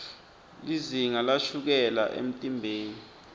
lizinga lashukela emtimbeni